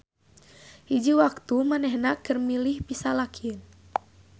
Hiji waktu manehna keur milih pisalakieun.